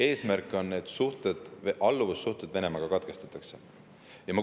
Eesmärk on, et need alluvussuhted Venemaaga katkestatakse.